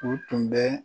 U tun bɛ